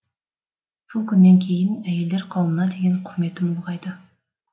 сол күннен кейін әйелдер қауымына деген құрметім ұлғайды